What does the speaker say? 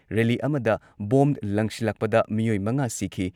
Rally ꯑꯃꯗ bomb ꯂꯪꯁꯤꯜꯂꯛꯄꯗ ꯃꯤꯑꯣꯏ ꯃꯉꯥ ꯁꯤꯈꯤ꯫